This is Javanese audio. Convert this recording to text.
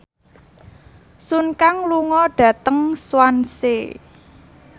Sun Kang lunga dhateng Swansea